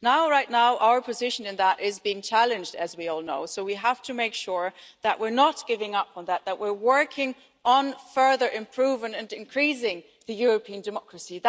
Right now our position on that is being challenged, as we all know, so we have to make sure that were not giving up on that, that we're working on further improving and increasing European democracy.